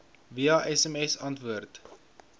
via sms antwoord